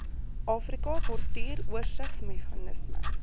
afrika portuur oorsigsmeganisme